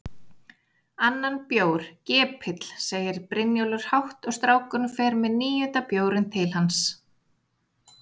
Annan bjór, gepill, segir Brynjólfur hátt og strákurinn fer með níunda bjórinn til hans.